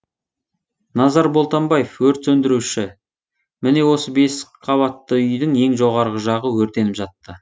назар болтамбаев өрт сөндіруші міне осы бес қабатты үйдің ең жоғарғы жағы өртеніп жатты